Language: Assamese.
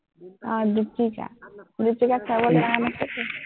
আহ দীপিকা, দীপিকাক চাবলৈ নাই মাতিছে।